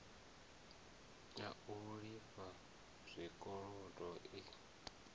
a u lifha zwikolodo i